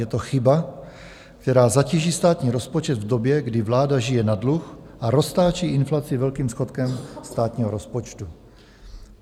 Je to chyba, která zatíží státní rozpočet v době, kdy vláda žije na dluh a roztáčí inflaci velkým schodkem státního rozpočtu.